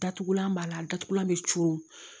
Datugulan b'a la datugulan bɛ cun